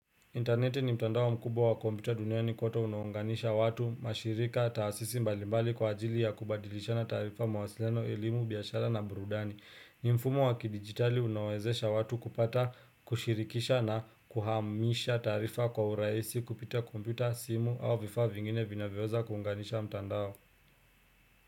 Interneti ni mtandao mkubwa wa kompyuta dunia ni kote unaunganisha watu, mashirika, taasisi mbalimbali kwa ajili ya kubadilishana taarifa mawasiliano, elimu, biashara na burudani. Ni mfumo wa kidigitali unawezesha watu kupata, kushirikisha na kuhamisha taarifa kwa urahisi kupita kompita, simu au vifaa vingine vinaweweza kuunganisha mtandao.